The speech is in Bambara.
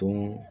Dun